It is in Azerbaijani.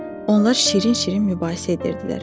Onlar şirin-şirin mübahisə edirdilər.